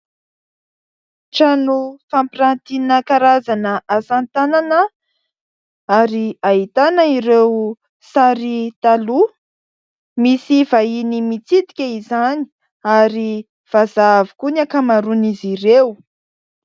Trano fampirantiana karazana asatanana ary ahitana ireo sary taloha, misy vahiny mitsidika izany ary vazaha avokoa ny ankamaroan'izy ireo.